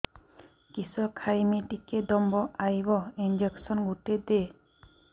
କିସ ଖାଇମି ଟିକେ ଦମ୍ଭ ଆଇବ ଇଞ୍ଜେକସନ ଗୁଟେ ଦେ